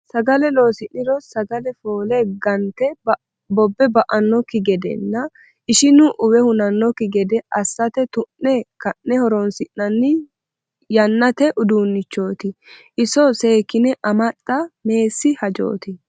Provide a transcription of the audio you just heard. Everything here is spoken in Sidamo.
Sagale loosi'niro sagale foole gante bobe ba"anokki gedenna ishinu uwe hunanokki gede assate tu'ne kanne horonsi'nanni yannate uduunchoti iso seekkine amaxa meessi hajoti.